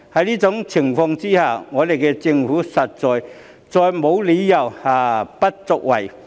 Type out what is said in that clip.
在這情況下，政府官員實在再沒有理由不作為。